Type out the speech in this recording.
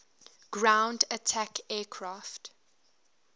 ground attack aircraft